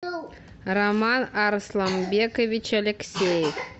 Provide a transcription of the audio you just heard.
роман арсламбекович алексеев